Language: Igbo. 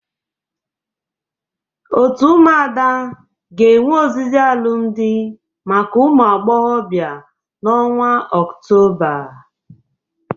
Otu ụmụada ga-ewe ozizi alụmdị maka ụmụ agboghọbịa n'ọnwa ọktoba.